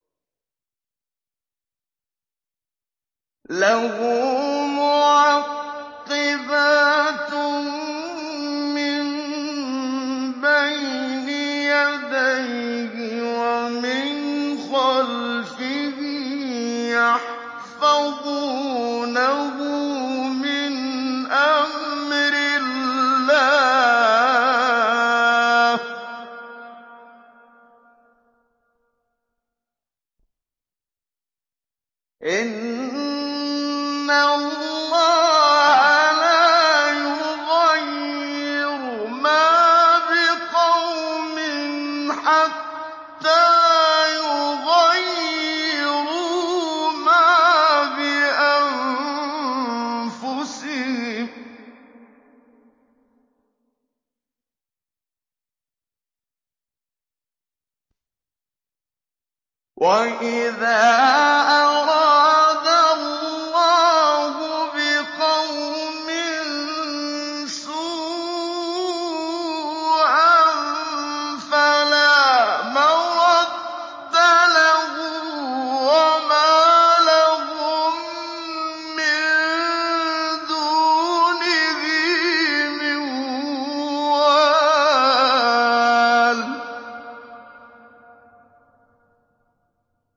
لَهُ مُعَقِّبَاتٌ مِّن بَيْنِ يَدَيْهِ وَمِنْ خَلْفِهِ يَحْفَظُونَهُ مِنْ أَمْرِ اللَّهِ ۗ إِنَّ اللَّهَ لَا يُغَيِّرُ مَا بِقَوْمٍ حَتَّىٰ يُغَيِّرُوا مَا بِأَنفُسِهِمْ ۗ وَإِذَا أَرَادَ اللَّهُ بِقَوْمٍ سُوءًا فَلَا مَرَدَّ لَهُ ۚ وَمَا لَهُم مِّن دُونِهِ مِن وَالٍ